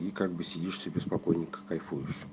и как бы сидишь себе спокойненько кайфуйешь